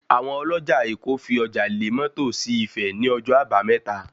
Àwọn ọlọ́jà èkó fi ọjà lé mọ́tò sí Ifẹ̀ ní ọjọ́ àbámẹ́ta